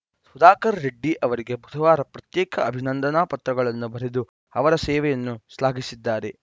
ಸುಧಾಕರ್‌ ರೆಡ್ಡಿ ಅವರಿಗೆ ಬುಧವಾರ ಪ್ರತ್ಯೇಕ ಅಭಿನಂದನಾ ಪತ್ರಗಳನ್ನು ಬರೆದು ಅವರ ಸೇವೆಯನ್ನು ಶ್ಲಾಘಿಸಿದ್ದಾರೆ